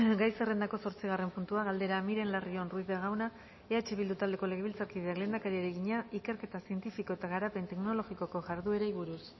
gai zerrendako zortzigarren puntua galdera miren larrion ruiz de gauna eh bildu taldeko legebiltzarkideak lehendakariari egina ikerketa zientifiko eta garapen teknologikoko jarduerei buruz